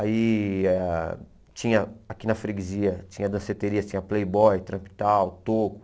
Aí ah tinha aqui na freguesia, tinha danceteria, tinha playboy, trap tal, toco.